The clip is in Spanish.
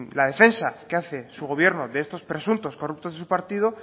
la defensa que hace su gobierno de estos presuntos corruptos de su partido